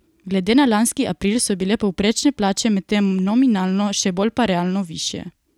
Glede na lanski april so bile povprečne plače medtem nominalno, še bolj pa realno, višje.